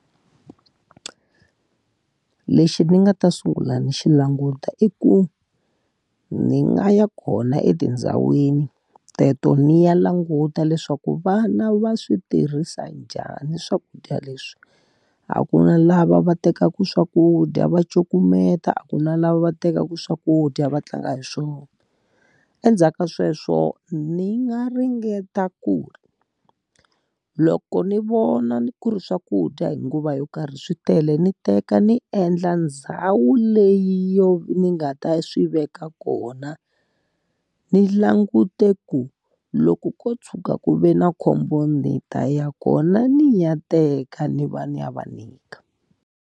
Lexi ni nga ta sungula ni xi languta i ku, ni nga ya kona etindhawini teto ni ya languta leswaku vana va swi tirhisa njhani swakudya leswi. A ku na lava va tekaku swakudya va cukumeta, a ku na lava va tekaku swakudya va tlanga hi swona. Endzhaku ka sweswo ni nga ringeta ku ri loko ni vona ku ri swakudya hi nguva yo karhi swi tele ni teka ni endla ndhawu leyi yo ni nga ta swi veka kona, ni langute ku loko ko tshuka ku ve na khombo ni ta ya kona ni ya teka ni va ni ya va nyika.